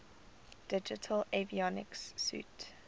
digital avionics suite